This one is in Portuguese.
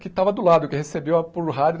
Que estava do lado, que recebeu a por rádio.